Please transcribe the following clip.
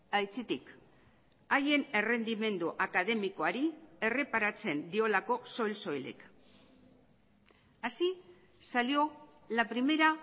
aitzitik haien errendimendu akademikoari erreparatzen diolako soil soilik así salió la primera